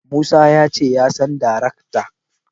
Musa ya ce ya san daraktan.